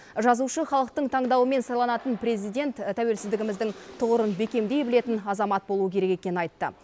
жазушы халықтың таңдауымен сайланатын президент тәуелсіздігіміздің тұғырын бекемдей білетін азамат болуы керек екенін айтты